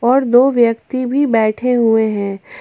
और दो व्यक्ति भी बैठे हुए हैं।